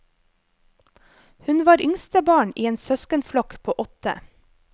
Hun var yngstebarn i en søskenflokk på åtte.